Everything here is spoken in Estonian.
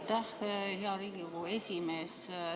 Aitäh, hea Riigikogu esimees!